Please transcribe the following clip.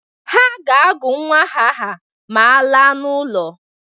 Ha ga-agụ nnwa aha ma alaa n'ụlọ.